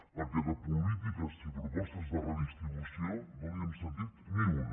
perquè de polítiques i propostes de redistribució no li n’hem sentit ni una